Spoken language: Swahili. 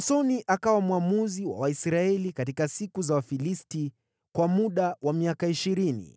Samsoni akawa mwamuzi wa Waisraeli katika siku za Wafilisti kwa muda wa miaka ishirini.